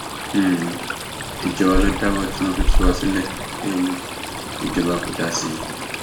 um ìjọ wa ló dáwó tí wọn fi tú wa sílé um ìjọba kò dá sí i